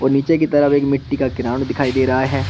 नीचे की तरफ एक मिट्टी का ग्राउंड दिखाई दे रहा है।